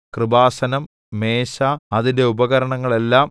കൃപാസനം മേശ അതിന്റെ ഉപകരണങ്ങളെല്ലാം